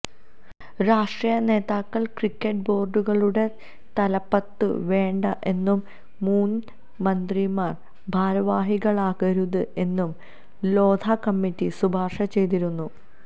രാഷ്ട്രീയ നേതാക്കള് ക്രിക്കറ്റ് ബോര്ഡുകളുടെ തലപ്പത്ത് വേണ്ട എന്നും മുന് മന്ത്രിമാര് ഭാരവാഹികളാകരുത് എന്നും ലോധ കമ്മിറ്റി ശുപാര്ശ ചെയ്തിരുന്നു